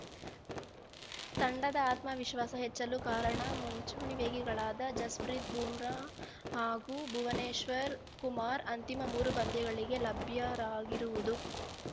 ತಂಡದ ಆತ್ಮವಿಶ್ವಾಸ ಹೆಚ್ಚಲು ಕಾರಣ ಮುಂಚೂಣಿ ವೇಗಿಗಳಾದ ಜಸ್‌ಪ್ರೀತ್‌ ಬೂಮ್ರಾ ಹಾಗೂ ಭುವನೇಶ್ವರ್‌ ಕುಮಾರ್‌ ಅಂತಿಮ ಮೂರು ಪಂದ್ಯಗಳಿಗೆ ಲಭ್ಯರಾಗಿರುವುದು